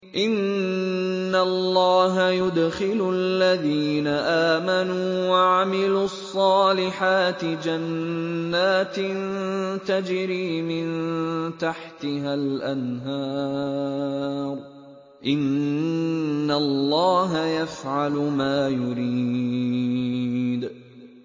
إِنَّ اللَّهَ يُدْخِلُ الَّذِينَ آمَنُوا وَعَمِلُوا الصَّالِحَاتِ جَنَّاتٍ تَجْرِي مِن تَحْتِهَا الْأَنْهَارُ ۚ إِنَّ اللَّهَ يَفْعَلُ مَا يُرِيدُ